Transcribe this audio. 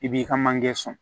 I b'i ka manje son